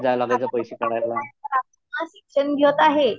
शिक्षण घेत आहे.